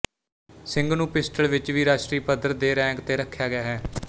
ਸਿੰਘ ਨੂੰ ਪਿਸਟਲ ਵਿੱਚ ਵੀ ਰਾਸ਼ਟਰੀ ਪੱਧਰ ਦੇ ਰੈਂਕ ਤੇ ਰੱਖਿਆ ਗਿਆ ਹੈ